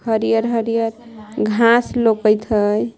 हरियर-हरियर घास लोकत हई।